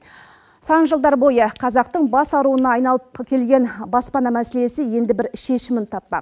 сан жылдар бойы қазақтың бас ауруына айналып келген баспана мәселесі енді бір шешімін таппақ